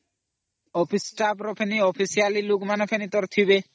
Official status ବି ଥିବେ